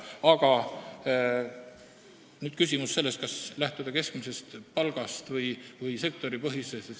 Aga nüüd see küsimus, kas lähtuda keskmisest palgast või sektoripõhisest palgast.